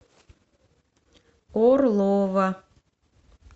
орлова